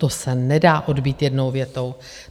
To se nedá odbýt jednou větou.